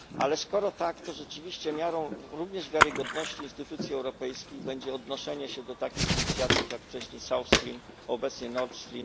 Ale skoro tak, to rzeczywiście miarą również wiarygodność instytucji europejskich będzie odnoszenie się do takich inicjatyw, jak wcześniej South Stream, obecnie Nord Stream.